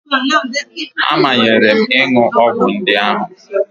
A manyere m ịṅụ ọgwụ ndị ahụ